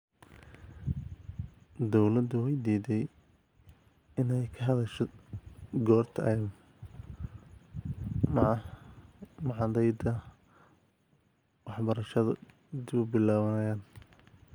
Dawladdu way diiday inayka hadasho goorta ay machadyada waxbarashadu dib u bilaabanayaan.